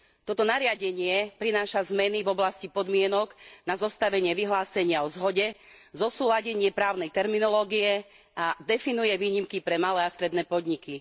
Toto nariadenie prináša zmeny v oblasti podmienok na zostavenie vyhlásenia o zhode, zosúladenie právnej terminológie a definuje výnimky pre malé a stredné podniky.